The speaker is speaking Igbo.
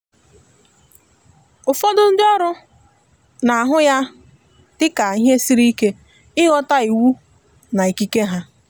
ụfọdụ ndi oru na ahụ ya dị ka ihe siri ike ịghọta iwu na ikike ha